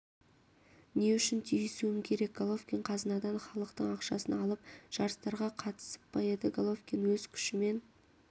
не үшін тиісуім керек головкин қазынадан халықтың ақшасын алып жарыстарға қатысып па еді головкин өз күшімен